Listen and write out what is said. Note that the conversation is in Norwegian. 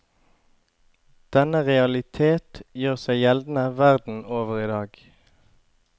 Denne realitet gjør seg gjeldende verden over idag.